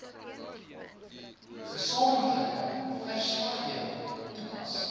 gesamentlike verslaggewing toepas